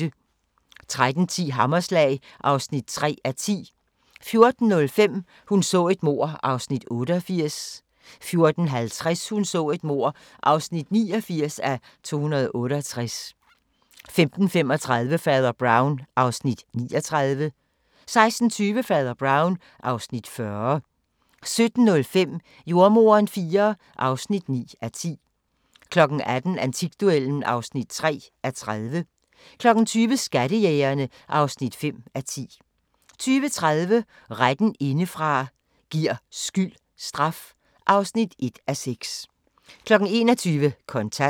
13:10: Hammerslag (3:10) 14:05: Hun så et mord (88:268) 14:50: Hun så et mord (89:268) 15:35: Fader Brown (Afs. 39) 16:20: Fader Brown (Afs. 40) 17:05: Jordemoderen IV (9:10) 18:00: Antikduellen (3:30) 20:00: Skattejægerne (5:10) 20:30: Retten indefra – giver skyld straf? (1:6) 21:00: Kontant